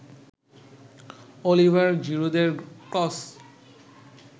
Oliver জিরুদের cross